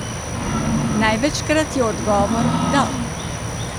Največkrat je odgovor, da!